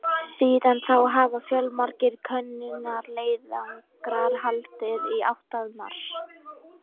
Síðan þá hafa fjölmargir könnunarleiðangrar haldið í átt að Mars.